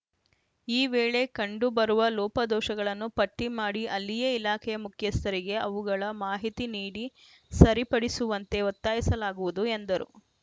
ಈ ವೇಳೆ ಕಂಡು ಬರುವ ಲೋಪದೋಷಗಳನ್ನು ಪಟ್ಟಿಮಾಡಿ ಅಲ್ಲಿಯೇ ಇಲಾಖೆಯ ಮುಖ್ಯಸ್ಥರಿಗೆ ಅವುಗಳ ಮಾಹಿತಿ ನೀಡಿ ಸರಿಪಡಿಸುವಂತೆ ಒತ್ತಾಯಿಸಲಾಗುವುದು ಎಂದರು